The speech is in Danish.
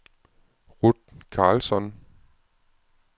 Ruth Karlsson